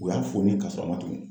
U y'a foni ka sɔrɔ a ma tugun!